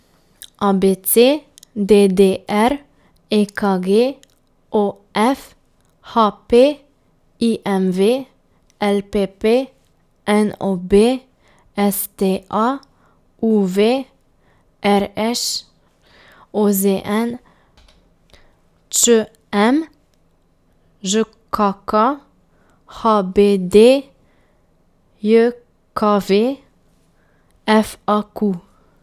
A B C; D D R; E K G; O F; H P; I M V; L P P; N O B; S T A; U V; R Š; O Z N; Č M; Ž K K; H B D J K V; F A Q.